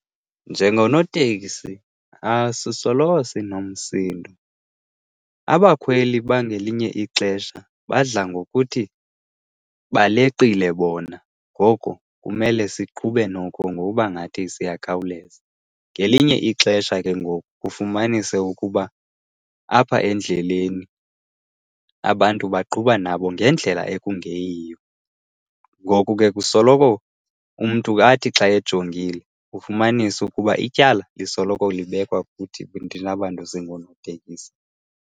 Njengonoteksi asisoloko sinomsindo. Abakhweli bangelinye ixesha badla ngokuthi baleqile bona ngoko kumele siqhube noko ngokuba ngathi siyakhawuleza. Ngelinye ixesha ke ngoku ufumanise ukuba apha endleleni abantu baqhuba nabo ngendlela ekungeyiyo. Ngoku ke kusoloko umntu athi xa ejongile ufumanise ukuba ityala lisoloko libekwa kuthi thina bantu singonootekisi.